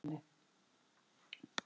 Hann kom í glampandi kvöldsólinni.